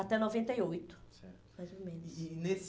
Até noventa e oito, mais ou menos. E nesse